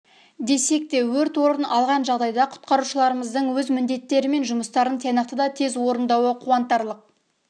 десек те өрт орын алған жағдайда құтқарушыларымыздың өз міндеттері мен жұмыстарын тиянақты да тез орындауы қуантарлық